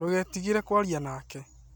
Ndũgeetigĩre kũaria nake